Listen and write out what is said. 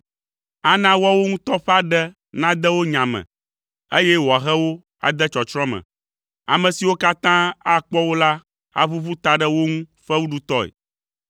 Ana woawo ŋutɔ ƒe aɖe nade wo nya me eye wòahe wo ade tsɔtsrɔ̃ me. Ame siwo katã akpɔ wo la aʋuʋu ta ɖe wo ŋu fewuɖutɔe.